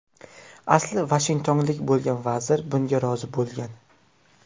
Asli vashingtonlik bo‘lgan vazir bunga rozi bo‘lgan.